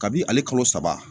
Kabi ale kalo saba